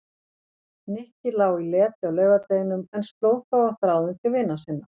Nikki lá í leti á laugardeginum en sló þó á þráðinn til vina sinna.